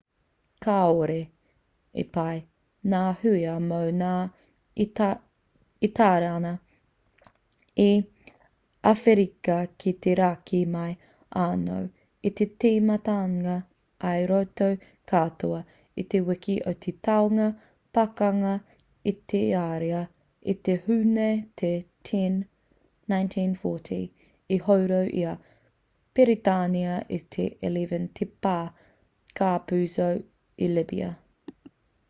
kāore i pai ngā hua mō ngā itariana i awherika ki te raki mai anō i te timatanga i roto katoa i te wiki o te taunga pakanga a itaria i te hūne te 10 1940 i horo i a piritania te 11 te pā capuzzo i libya